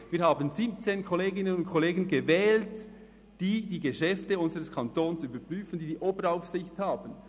Wir haben 17 Kolleginnen und Kollegen gewählt, die die Geschäfte unseres Kantons überprüfen, die die Oberaufsicht haben.